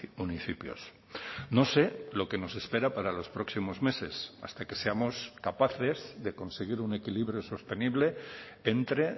municipios no sé lo que nos espera para los próximos meses hasta que seamos capaces de conseguir un equilibrio sostenible entre